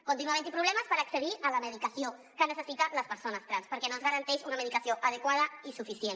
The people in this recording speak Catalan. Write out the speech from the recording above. continua havent hi problemes per accedir a la medicació que necessiten les persones trans perquè no es garanteix una medicació adequada i suficient